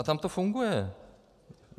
A tam to funguje.